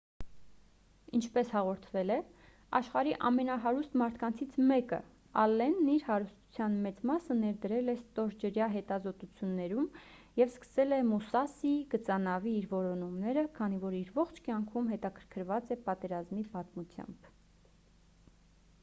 ինչպես հաղորդվել է աշխարհի ամենահարուստ մարդկանցից մեկը ՝ ալենն իր հարստության մեծ մասը ներդրել է ստորջրյա հետազոտություններում և սկսել է «մուսասի» գծանավի իր որոնումները քանի որ իր ողջ կյանքում հետաքրքրված է պատերազմի պատմությամբ: